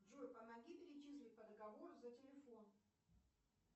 джой помоги перечислить по договору за телефон